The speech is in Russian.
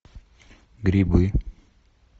грибы